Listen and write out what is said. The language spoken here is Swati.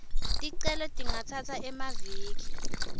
ticelo tingatsatsa emaviki